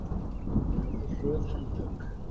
Þeir höfðu hröð handtök.